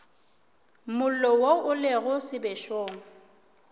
mollo wo o lego sebešong